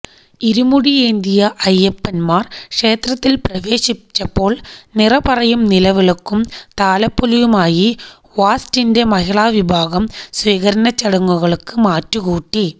ഇരുമുടിയെന്തിയ അയ്യപ്പന്മാർ ക്ഷേത്രത്തിൽ പ്രവേശിച്ചപ്പോൾ നിറപറയും നിലവിളക്കും താലപ്പൊലിയുമായി വാസ്റ്റിന്റെ മഹിളാ വിഭാഗവും സ്വീകരണച്ചടങ്ങുകൾക്ക് മാറ്റുകൂട്ടി